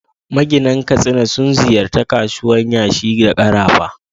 Maginan Katsina sun ziyarci kasuwar yashi da karafa.